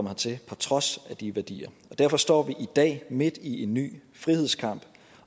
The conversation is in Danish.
hertil på trods af de værdier og derfor står vi i dag midt i en ny frihedskamp